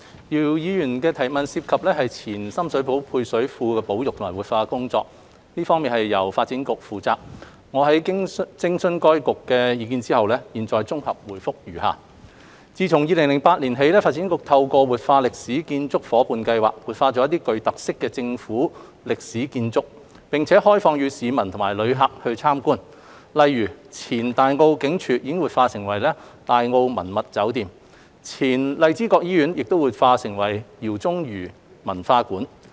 姚議員的質詢涉及的前深水埗配水庫保育及活化的工作，由發展局負責，我經諮詢該局的意見後，現綜合答覆如下：自2008年起，發展局透過活化歷史建築伙伴計劃，活化一些具特色的政府歷史建築，並開放予市民及旅客參觀，例如前大澳警署已活化為大澳文物酒店、前荔枝角醫院已活化為饒宗頤文化館。